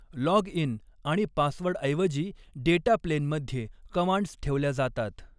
Login आणि पासवर्डऐवजी data प्लेनमध्ये कमांड्स ठेवल्या जातात.